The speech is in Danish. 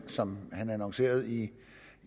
som han annoncerede i